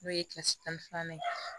N'o ye tan ni filanan ye